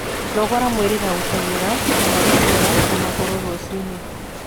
Nogora mwĩrĩ na guteng'era kana gucera na maguru rucii-ini